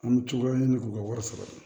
An bɛ cogoya ɲini k'u ka wari sɔrɔ